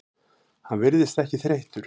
Hann virðist ekki þreyttur.